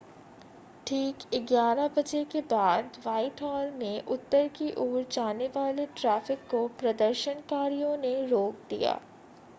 ठीक 11:00 बजे के बाद व्हाइटहॉल में उत्तर की ओर जाने वाले ट्रैफ़िक को प्रदर्शनकारियों ने रोक दिया